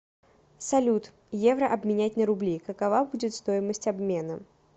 салют евро обменять на рубли какова будет стоимость обмена